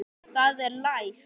Það er læst!